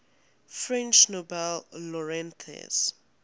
french nobel laureates